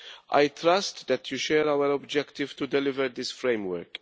I trust that this House shares our objective to deliver this framework.